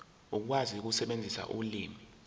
ukwazi ukusebenzisa ulimi